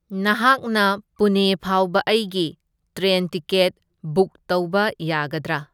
ꯅꯍꯥꯛꯅ ꯄꯨꯅꯦ ꯐꯥꯎꯕ ꯑꯩꯒꯤ ꯇ꯭ꯔꯦꯟ ꯇꯤꯀꯦꯠ ꯕꯨꯛ ꯇꯧꯕ ꯌꯥꯒꯗ꯭ꯔꯥ?